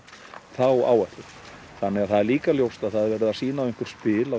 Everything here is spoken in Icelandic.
þá áætlun þannig að það er líka ljóst að það er verið að sýna á einhver spil